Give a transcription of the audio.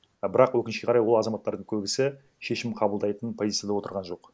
а бірақ өкінішке қарай ол азаматтардың көбісі шешім қабылдайтын позицияда отырған жоқ